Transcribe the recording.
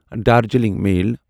Darjeeling میل